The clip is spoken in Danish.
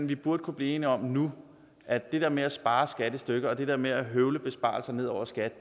vi burde kunne blive enige om nu at det der med at spare skat i stykker og det der med at høvle besparelser ned over skat